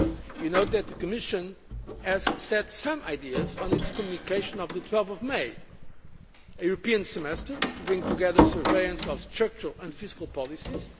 You know that the Commission set out some ideas in its communication of 12 May a European semester to bring together surveillance of structural and fiscal policies